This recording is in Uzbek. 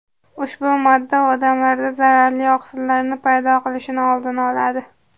Ushbu modda odamlarda zararli oqsillarning paydo bo‘lishini oldini oladi.